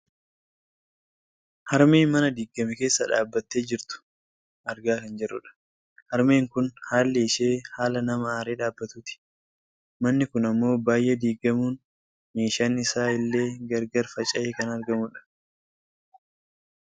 Harmee mana diiggame keessa dhaabbattee jirtu argaa kan jirrudha. harmeen kun haalli ishee haala nama aaree dhaabbatuuti. manni kun ammoo baayyee diigamuun meeshaan isaa illee gar gar faca'ee kan argamudha.